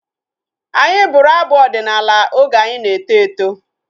Anyị bụrụ abụ ọdịnala oge anyị na-eto eto